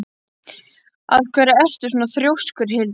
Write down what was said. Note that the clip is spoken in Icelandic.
Af hverju ertu svona þrjóskur, Hildar?